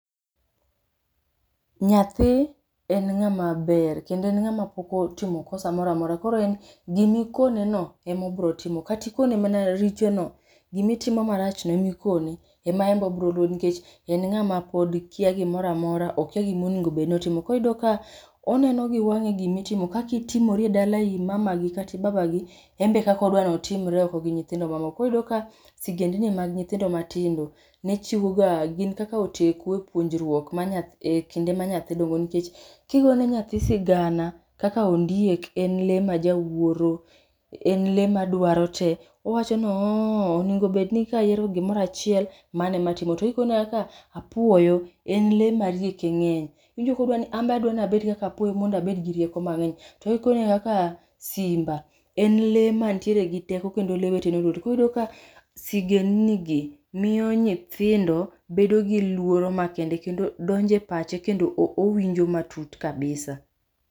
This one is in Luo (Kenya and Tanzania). Nyathi, en ng'ama ber kendo en ng'ama pok otimo kosa moramora koro en, gimikone no emobro timo. Kati ikone mana richo no, gimitimo marach no emikone, ema embe obroluwo nikech en ng'ama pod kiya gimoramora, okiya gimoningo bed notimo. Koro iyudo ka, oneno giwang'e gimitimo, kaki itimori e dala imamagi kati ibabagi embe e kakodwa notimre oko gi nyithindo mamoko, koro iyudo ka sigendni mag nyithindo matindo nechiwo ga gin kaka oteku e puonjruok ma nyathi e kinde ma nyathi dongo nikech kigone nyathi sigana kaka ondiek en lee majawuoro, en lee madwaro te owacho noooho onengo bedni kayiero gimoro achiel, mane ematimo. To kikone kaka apuoyo, en lee marieke ng'eny. Iwinjo kodwa ni amba adwa nabed kaka apuoyo mondabed gi rieko mang'eny. To kikone kaka, simba en lee mantiere gi teko kendo lee wetene oluore to koro iyudo ka sigend ni gi miyo nyithindo bedo gi luoro makende kendo donjo e pache kendo o owinjo matut kabisa